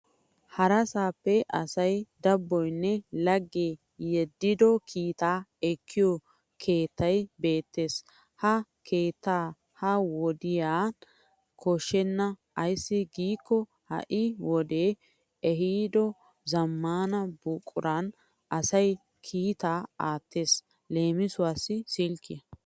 Harasaappe asay dabboyinne laggee yeddido kiita ekkiyo keettay beettes. Ha keettaa ha wodiyan koshshenna ayssi giikko ha'i wodee ehido zammaana buquran asay kiitaa aattes leemisuwaassi silkkiyan.